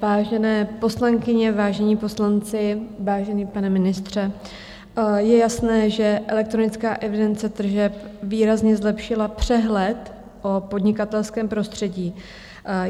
Vážené poslankyně, vážení poslanci, vážený pane ministře, je jasné, že elektronická evidence tržeb výrazně zlepšila přehled o podnikatelském prostředí.